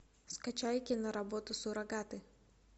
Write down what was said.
скачай киноработу суррогаты